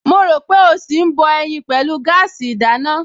Mo rò pé ó ṣì ń bọ ẹyin pẹ̀lú gáàsì ìdáná